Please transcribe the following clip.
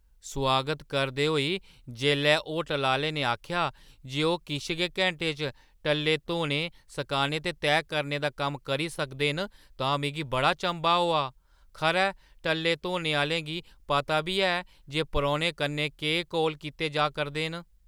सोआगत करदे होई जेल्लै होटलै आह्‌ले ने आखेआ जे ओह् किश गै घैंटें च टल्ले धोने , सकाने ते तैह् करने दा कम्म करी सकदे न तां मिगी बड़ा चंभा होआ । खरै टल्ले धोने आह्‌लें गी पता बी ऐ जे परौह्‌नें कन्नै केह् कौल कीते जा करदे न ।